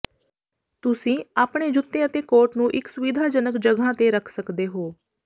ਤੁਸੀਂ ਆਪਣੇ ਜੁੱਤੇ ਅਤੇ ਕੋਟ ਨੂੰ ਇੱਕ ਸੁਵਿਧਾਜਨਕ ਜਗ੍ਹਾ ਤੇ ਰੱਖ ਸਕਦੇ ਹੋ